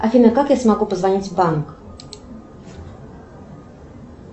афина как я смогу позвонить в банк